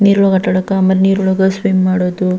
ನೀರೊಳೊಗೆ ಆಟ ಆಡಾಕ ಆಮೇಲೆ ನೀರೊಳೊಗೆ ಸ್ವಿಮ್ ಮಾಡೋದು.